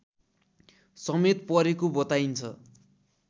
समेत परेको बताइन्छ